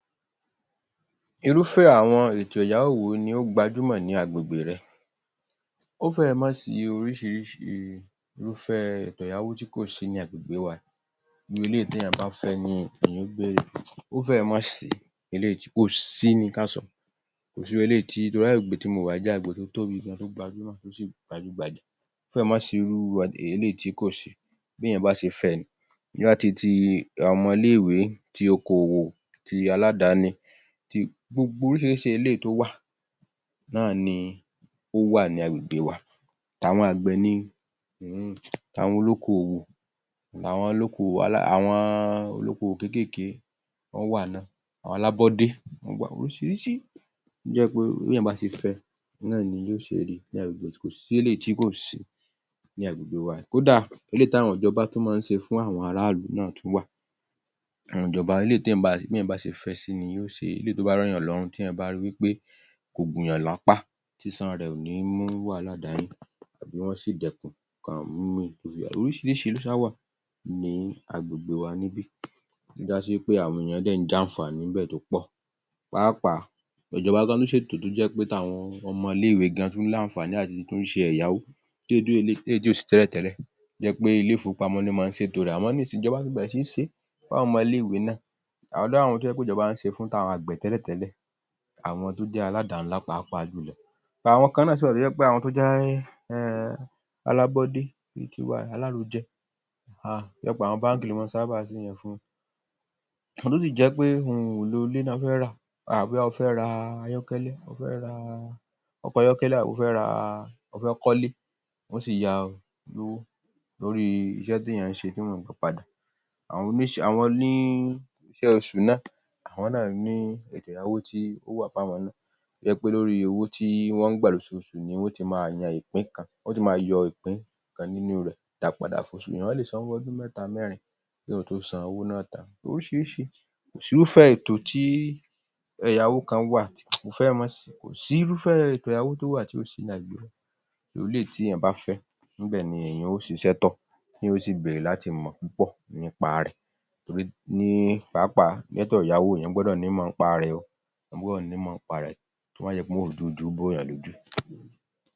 Irúfẹ́ àwọn ètò ẹ̀yáwó won i ó gbajúmọ̀ ní agbègbè re? ó fẹ́rẹ̀ má sí oríṣiríṣi irúfẹ́ ètò ẹ̀yáwó tí kò sí ní agbègbè wa yìí, irú eléyìí tí èyàn bá fẹ́ ni èyàn ó bèrè, ó fẹ́rẹ̀ má sí eléyìí tí, kò sí ni ká sọ, kò sí irú eléyìí tí, torí agbègbè tí mo wà yìí jẹ́ agbègbè tó tóbi gan-an, tó gbajúmọ̀ tó sì gbajúgbajà. Ó fẹ́rẹ̀ má sí um irú eléyìí tí kò sí, Bí éyàn bá ṣe fẹ́ ẹ ni, bóyá ti ti àwọn ọmọ ilé-ìwé, ti okòwò, tí aládáni, ti, gbogbo oríṣiríṣi eléyìí tó wà náà ni ó wà ní agbègbè wa, ti àwọn àgbẹ̀ ni, um àwọn olókòwò, àwọn olókòwò um àwọn olóko òwò kéékèèkéé wọ́n wà náà, àwọn alábọ́dé wọ́n wà, oríṣiríṣi tó jẹ́ pé bí èyàn bá sׅe fẹ́ náà ni yóò ṣe ri ní agbègbè, kò sí eléyìí tí kò sí ní agbègbè wa yìí, kódà eléyìí ti àwọn ìjọba tún maa ń ṣe fún àwọn ará ìlú náa tún wà, àwọn ìjọba, eléyìí tí èyàn, tí èyàn bá ṣe fẹ́ ẹ sí ni, ni yóò ṣe, eléyìí tó bá rọ èyàn lọ́rùn ,tí èyàn bá ri wípé kò gùnyàn lápá, sísan rẹ̀ ò ní mú wàhálà dání .oríṣiríṣi ló ṣáà wà ní agbègbè wa níbí, tó já sí wípé àwọn èyàn dẹ̀ ń jàǹfàní ńbẹ̀ tó pọ̀, pàápàá ìjọba gan-an tún ṣètò tó jẹ́ pé àwọn ọmọ ilé-ìwé gan-an tún ní àǹfàní láti tún ṣe étó ẹ̀yáwó, um eléyìí tí ò sì tẹ́lẹ̀tẹ́lẹ̀, tó jẹ́ pé ilé ìfowópamọ́ ni máa ṣètò rẹ̀, àmọ́ nísìnyí ìjọba tí bẹ̀rẹ̀ sí í ṣe fún àwọn ọmọ ilé ìwé náà, a rí àwọn tó jẹ́ pé ìjọba ń ṣe e fún, àwọn àgbẹ̀ tẹ́lẹ̀tẹ́lẹ̀ àwọn tó jẹ́ aládàá ńlá pàápàa ́jùlọ, àwọn kan náà sì wà to ́jẹ́ um alábọ́dé, bí i ti wa, alárojẹ, um tó jẹ́ pé àwọn báǹkì ló máa ń sábà ń ṣe yẹn fún. Àwọn tó sì jẹ́ pé ohun èlò ilé ló fẹ́ rà, bóyá ó fẹ́ ra ayọ́kẹ́lẹ́, ó fẹ́ ra ọkọ̀ ayọ́kẹ́lẹ́, àbí ó fẹ́ ra um ó fẹ́ kọ́lé, wọn ó sì yá o lọ́wọ́ torí iṣẹ́ tí èyàn ń ṣe tí wọ́n mọ̀ nípa ẹ̀, àwọn oníṣẹ́, àwọn um, oníṣẹ́ oṣù náà, àwọn náà ní ètò ẹ̀yáwó tí ó wá fún àwọn náà, tó jẹ́ pé lórí owó tí wọ́n ń gbà lóṣoòṣù ni wón ó ti máa yan ìpín kan, wọn ó ti máa yọ ipín kan nínú rẹ̀ dá padà .èyàn lè sanwó ọdún mẹ́ta, mẹ́rin kí èyàn tó san owó náà tán, oríṣiríṣi, kò sí irúfẹ́ ètò tí, èyáwó kan wà, kò fẹ́rẹ̀ má sí, kò sí irúfẹ́ ètò ẹ̀yáwó tó wà tí ò sí ní agbègbè mi, irú eléyìí tí èyàn bá fẹ́ ni èyàn ó ṣiṣẹ́ tọ̀, èyàn ó sì bèrè láti mọ̀ púpọ̀ nípa rẹ̀, torí ní pàápàá, ètò ẹ̀yáwó, èyàn gbọ́dọ̀ nímọ̀ nípa rẹ̀ o, èyàn gbọ́dọ̀ nímọ̀ nípa rẹ̀, kó má jẹ́ pé wọ́n ó dọwọ́ bo èyàn lójú